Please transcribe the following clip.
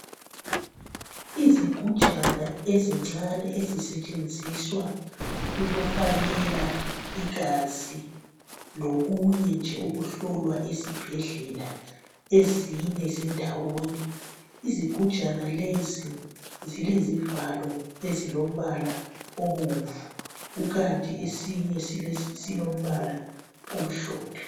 Izigujana ezincane ezitsetshenzizwa ukufakela igazi lokunye nje okokuhlowa esibhedlela, izigujana lezi zilombala obomnvu kukant ezinye lezi zilombala omhlophe.